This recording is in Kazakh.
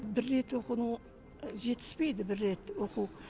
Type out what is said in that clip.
бір рет оқудың жетіспейді бір рет оқу